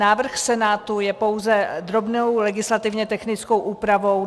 Návrh Senátu je pouze drobnou legislativně technickou úpravou.